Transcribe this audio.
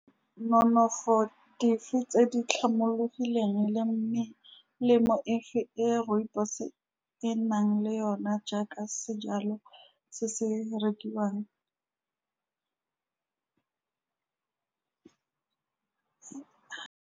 Nonofo dife tse di tlhomologileng le melemo efe e rooibos-e e nang le yona, jaaka sejalo se se rekiwang .